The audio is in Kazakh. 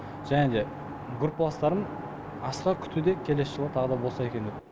және де группаластарым асыға күтуде келесі жылы тағы да болса екен деп